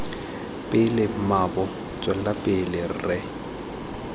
pele mmaabo tswela pele re